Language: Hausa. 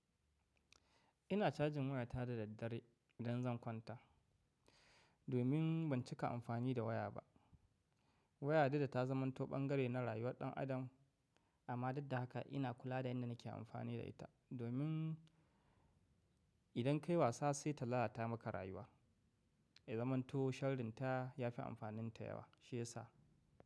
Ina cajin waya ta da daddare idan zan kwanta, domin ban cika amfani da waya ba. Waya dudda ta zaman to ɓan gare na rayuwar ɗan adam, amma dudda haka ina kula da yanda nake amfani da ita, domin idan kai wasa sai ta lalata maka rayuwa. Ya zamanto sharrin ta ya fi amfaninta yawa shi yasa.